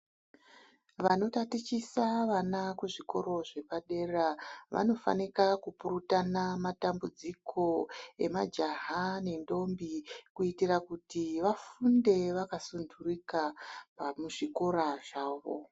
Vano tatichisa vana kuzvikoro zvepadera vano fanika ku purutana matambudziko emajaha nendombi kuitira kuti vafunde vaka sundurika muzvikora zvawo.